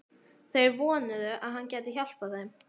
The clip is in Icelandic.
Þeir vonuðu, að hann gæti hjálpað þeim.